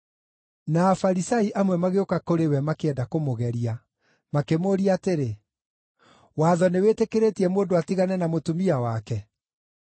Na Afarisai amwe magĩũka kũrĩ we makĩenda kũmũgeria, makĩmũũria atĩrĩ, “Watho nĩwĩtĩkĩrĩtie mũndũ atigane na mũtumia wake?”